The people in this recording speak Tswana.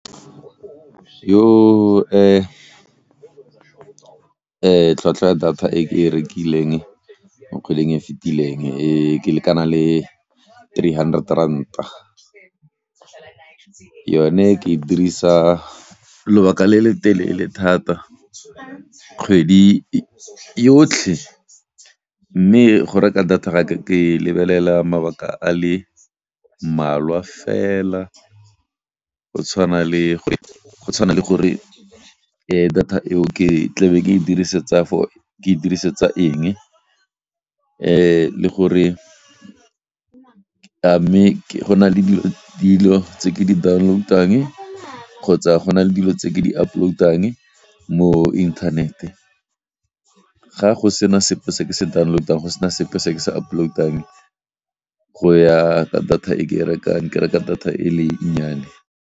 Tlhwatlhwa ya data e ke e rekileng mo kgweding e fetileng e lekana le three hundred rand. Yone ke e dirisa lobaka le le telele thata kgwedi yotlhe, mme go reka data ke lebelela mabaka a le mmalwa fela go tshwana le, go tshwana le gore data eo ke tlabe ke e dirisetsa for, ke e dirisetsa eng le gore a mme go na le dilo tse ke di downloutang kgotsa go na le dilo tse ke di uploutang mo internet. Ga go sena sepe se ke se downlotang go se na sepe se ke se uploutang go ya ka data e ke rekang ke reka data e le nnyane.